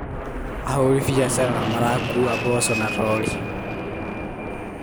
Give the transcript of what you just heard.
Ahũri biacara marakuua mboco na rori.